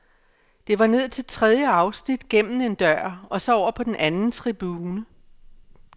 Det var ned til tredje afsnit, gennem en dør og så over på den anden tribune.